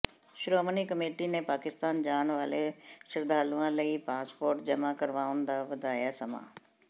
Shiromani committee ਨੇ ਪਾਕਿਸਤਾਨ ਜਾਣ ਵਾਲੇ ਸ਼ਰਧਾਲੂਆਂ ਲਈ ਪਾਸਪੋਰਟ ਜਮ੍ਹਾਂ ਕਰਵਾਉਣ ਦਾ ਵਧਾਇਆ ਸਮਾਂ